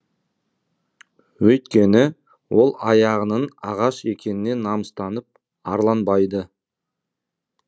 өйткені ол аяғының ағаш екеніне намыстанып арланбайды